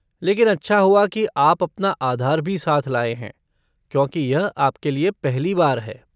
लेकिन अच्छा हुआ कि आप अपना आधार भी साथ लाए हैं क्योंकि यह आपके लिए पहली बार है।